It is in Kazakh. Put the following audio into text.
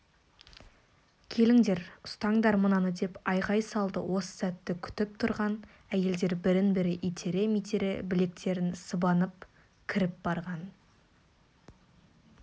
келіңдер ұстаңдар мынаны деп айқай салды осы сәтті күтіп тұрған әйелдер бірін-бірі итере-митере білектерін сыбанып кіріп барған